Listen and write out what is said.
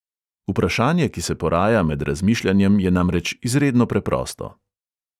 Vprašanje, ki se poraja med razmišljanjem je namreč izredno preprosto.